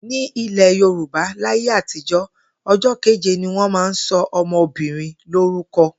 Ní ilè̩ Yorùbá láyé àtijó̩, o̩jó̩ kéje ni wó̩n máa ń so̩ o̩mo̩bìnrin lórúko̩